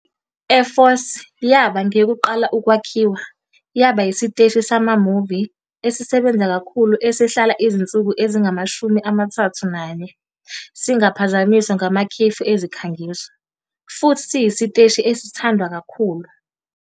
I-eForce yaba ngeyokuqala ukwakhiwa, yaba yisiteshi sama-movie esisebenza kakhulu esihlala izinsuku ezingama-31 singaphazanyiswa ngamakhefu ezikhangiso, futhi siyisiteshi esithandwa kakhulu.